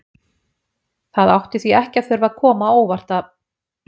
Það átti því ekki að þurfa að koma á óvart að